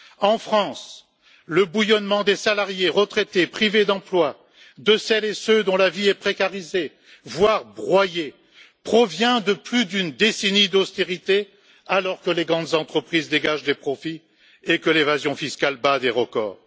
En France, le bouillonnement des salariés, des retraités, des privés d'emploi, de celles et ceux dont la vie est précarisée, voire broyée, provient de plus d'une décennie d'austérité alors que les grandes entreprises dégagent des profits et que l'évasion fiscale bat des records.